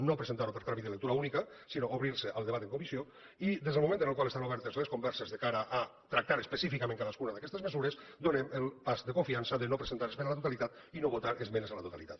no presentar lo per tràmit de lectura única sinó obrir se al debat en comissió i des del moment en el qual estan obertes les converses de cara a tractar específicament cadascuna d’aquestes mesures donem el pas de confiança de no presentar esmena a la totalitat i no votar esmenes a la totalitat